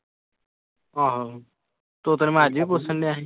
ਆਹੋ ਤੋਤੇ ਨੂੰ ਮੈਂ ਅੱਜ ਵੀ ਪੁੱਛਣਡਿਆ ਸੀ।